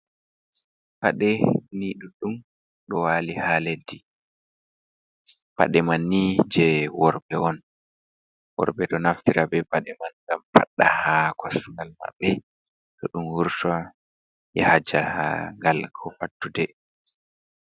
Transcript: Paɗee nii ɗuɗɗum, ɗo wali ha leddi, paɗee man ni je worɓe on, worɓe ɗo naftira be paɗee man ngam paɗɗa ha kosngal maɓɓe to dum wurtan yaha jahagal ko fattude.